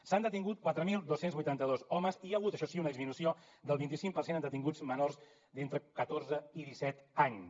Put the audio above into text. s’han detingut quatre mil dos cents i vuitanta dos homes i hi ha hagut això sí una disminució del vint cinc per cent en detinguts menors d’entre catorze i disset anys